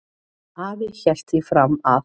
Afi hélt því fram að